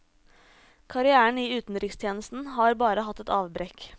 Karrièren i utenrikstjenesten har bare hatt ett avbrekk.